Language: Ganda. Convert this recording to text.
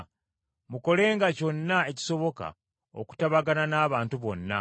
Mukolenga kyonna ekisoboka okutabagana n’abantu bonna;